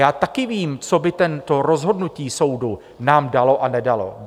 Já taky vím, co by to rozhodnutí soudu nám dalo a nedalo.